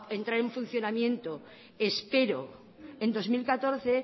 entrar en funcionamiento espero en dos mil catorce